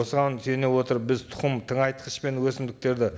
осыған сүйене отырып біз тұқым тыңайтқыш пен өсімдіктерді